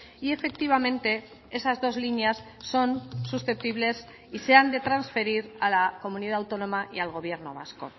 y efectivamente esas dos líneas son susceptibles y se han de transferir a la comunidad autónoma y al gobierno vasco